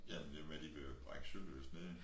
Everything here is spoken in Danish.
Jamen det med de vil brække Sølyst ned